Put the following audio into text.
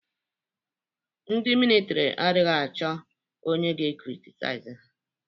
Ndị militri anaghị achọ onye ga-ekritizaiz ha